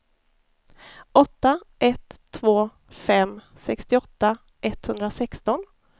åtta ett två fem sextioåtta etthundrasexton